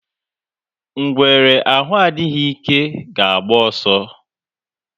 Ngwere arụ adịghị ike ga agba ọsọ.